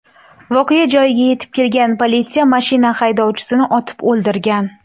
Voqea joyiga yetib kelgan politsiya mashina haydovchisini otib o‘ldirgan.